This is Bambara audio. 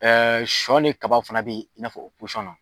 sɔ ni kaba fana be yen, i n'a fɔ